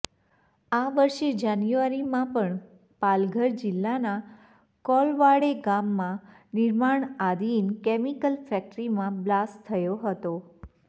આ વર્ષે જાન્યુઆરીમાં પણ પાલઘર જિલ્લાના કોલવાડે ગામમાં નિર્માણાધીન કેમિકલ ફેક્ટરીમાં બ્લાસ્ટ થયો હતો